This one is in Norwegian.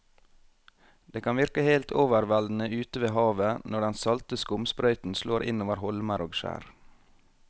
Det kan virke helt overveldende ute ved havet når den salte skumsprøyten slår innover holmer og skjær.